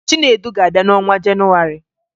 Chinedu ga-abịa n'ọnwa Jenụwarị